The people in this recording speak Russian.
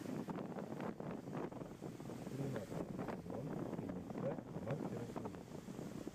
тринадцатый сезон фильмеца мастера ужасов